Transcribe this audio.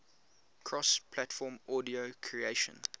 cross platform audio creation